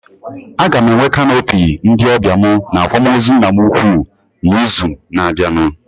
Aga m enwe canopy ndị ọbịa mụ na akwamozu nna m ukwu na izu na abịa